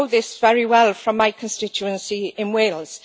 I know this very well from my constituency in Wales.